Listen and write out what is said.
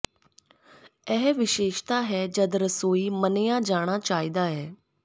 ਇਹ ਵਿਸ਼ੇਸ਼ਤਾ ਹੈ ਜਦ ਰਸੋਈ ਮੰਨਿਆ ਜਾਣਾ ਚਾਹੀਦਾ ਹੈ